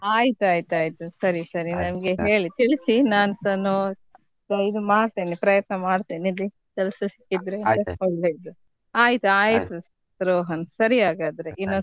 ಆಯ್ತಾಯ್ತಾಯ್ತು ಸರಿ ಸರಿ ನಮ್ಗೆ ಹೇಳಿ ತಿಳಿಸಿ ನಾನ್ಸ ಮಾಡ್ತೇನೆ ಪ್ರಯತ್ನ ಮಾಡ್ತೇನೆ ಇಲ್ಲಿ ಕೆಲಸ ಸಿಕ್ಕಿದ್ರೆ ಒಳ್ಳೆದು. ಆಯ್ತು ಆಯ್ತು ರೋಹನ್ ಸರಿ ಹಾಗಾದ್ರೆ.